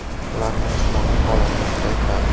Ularning jismoniy holatini kuchaytiradi.